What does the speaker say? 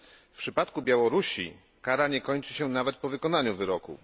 W przypadku Białorusi kara nie kończy się nawet po wykonaniu wyroku.